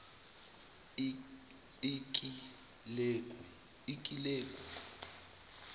ikileku